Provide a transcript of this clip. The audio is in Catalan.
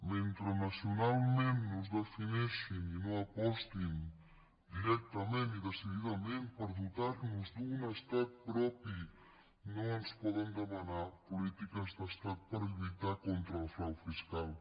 mentre nacionalment no es defineixin i no apostin directament i decididament per dotar nos d’un estat propi no ens poden demanar polítiques d’estat per lluitar contra el frau fiscal